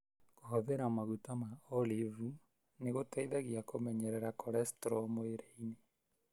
Kũhũthĩra maguta ma Olivu nĩgũteithagia kũmenyerera cholestro mwĩrĩinĩ.